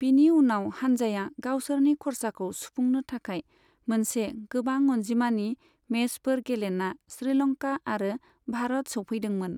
बिनि उनाव हानजाया गावसोरनि खरसाखौ सुफुंनो थाखाय मोनसे गोबां अनजिमानि मेचफोर गेलेना श्रीलंका आरो भारत सौफैदोंमोन।